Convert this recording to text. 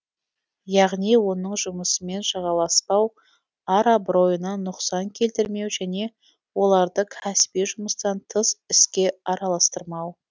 яғни оның жұмысымен жағаласпау ар абыройына нұқсан келтірмеу және оларды кәсіби жұмыстан тыс іске араластырмау